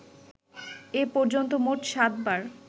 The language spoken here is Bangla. এ পর্যন্ত মোট সাত বার